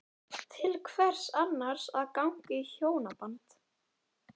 Til hvers annars að ganga í hjónaband?